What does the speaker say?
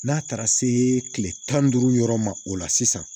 N'a taara se tile tan ni duuru yɔrɔ ma o la sisan